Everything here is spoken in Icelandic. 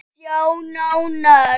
Sjá nánar